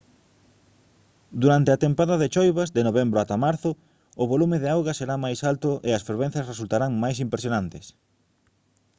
durante a tempada de choivas de novembro ata marzo o volume de auga será máis alto e as fervenzas resultarán máis impresionantes